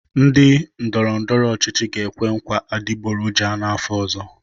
Ndị ndọrọ ndọrọ ọchịchị ga-ekwe nkwa adịgboroja n'afọ ọzọ.